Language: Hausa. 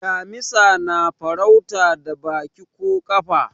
damisa na farauta da Baki ko kafa